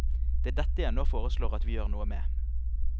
Det er dette jeg nå foreslår at vi gjør noe med.